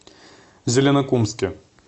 зеленокумске